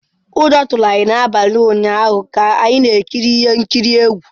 Ụjọ tụrụ anyị n’abalị ụnyaahụ ka anyị na-ekiri ihe nkiri egwu.